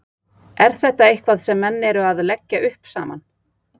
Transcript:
Er þetta eitthvað sem menn eru að leggja upp saman?